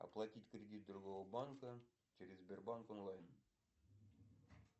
оплатить кредит другого банка через сбербанк онлайн